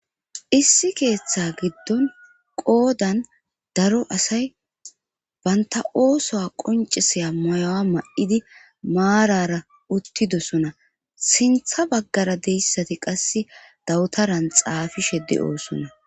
issi keeththa giddon qoodan daro asay baynta oosuwa qoncisaya mayuwa mayidi maarara uttidosona sintha baggara deyssati qase dawutaran xaafishe de"oosona